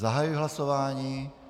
Zahajuji hlasování.